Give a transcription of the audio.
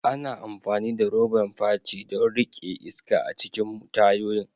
Ana amfani da roban fachi don riƙe iska a cikin tayoyin.